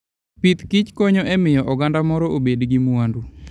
Pith kichkonyo e miyo oganda moro obed gi mwandu.